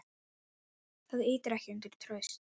Það ýtir ekki undir traust.